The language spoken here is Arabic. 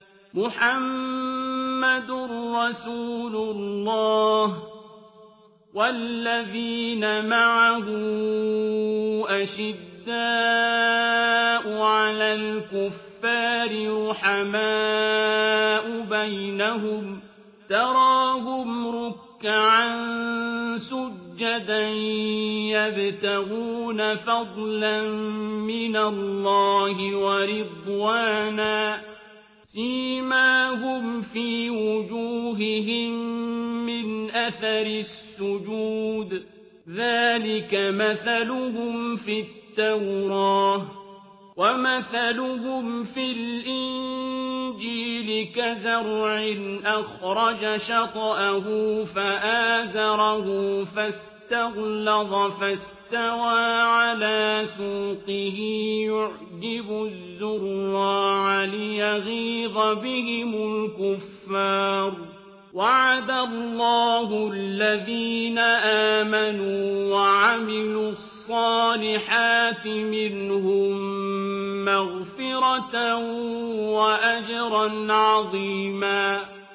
مُّحَمَّدٌ رَّسُولُ اللَّهِ ۚ وَالَّذِينَ مَعَهُ أَشِدَّاءُ عَلَى الْكُفَّارِ رُحَمَاءُ بَيْنَهُمْ ۖ تَرَاهُمْ رُكَّعًا سُجَّدًا يَبْتَغُونَ فَضْلًا مِّنَ اللَّهِ وَرِضْوَانًا ۖ سِيمَاهُمْ فِي وُجُوهِهِم مِّنْ أَثَرِ السُّجُودِ ۚ ذَٰلِكَ مَثَلُهُمْ فِي التَّوْرَاةِ ۚ وَمَثَلُهُمْ فِي الْإِنجِيلِ كَزَرْعٍ أَخْرَجَ شَطْأَهُ فَآزَرَهُ فَاسْتَغْلَظَ فَاسْتَوَىٰ عَلَىٰ سُوقِهِ يُعْجِبُ الزُّرَّاعَ لِيَغِيظَ بِهِمُ الْكُفَّارَ ۗ وَعَدَ اللَّهُ الَّذِينَ آمَنُوا وَعَمِلُوا الصَّالِحَاتِ مِنْهُم مَّغْفِرَةً وَأَجْرًا عَظِيمًا